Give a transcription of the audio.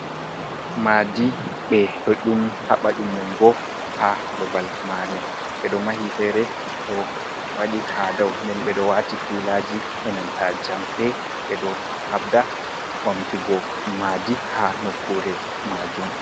"Maadi" ɓeɗo yum haba yummungo ha babal mare ɓeɗo mahi fere do waɗi ha dou nden ɓeɗo wati pilaji enanta jamɗe ɓeɗo habda bamtugo madi ha nokkure majum.